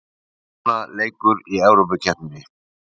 Jóna leikur í Evrópukeppni